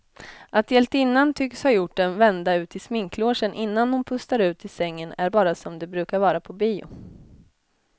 Att hjältinnan tycks ha gjort en vända ut i sminklogen innan hon pustar ut i sängen är bara som det brukar vara på bio.